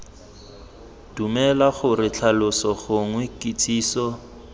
dumela gore tlhaloso gongwe kitsiso